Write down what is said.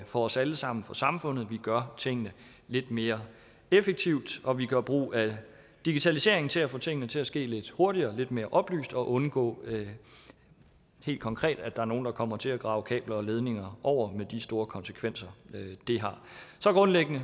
for os alle sammen for samfundet at vi gør tingene lidt mere effektivt og at vi gør brug af digitaliseringen til at få tingene til at ske lidt hurtigere lidt mere oplyst og undgå helt konkret at der er nogle der kommer til at grave kabler og ledninger over med de store konsekvenser det har så grundlæggende